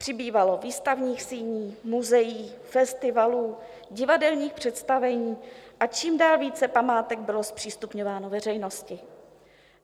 Přibývalo výstavních síní, muzeí, festivalů, divadelních představení a čím dál více památek bylo zpřístupňováno veřejnosti.